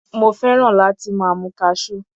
Mo fẹ́ràn láti máa mu Cashew.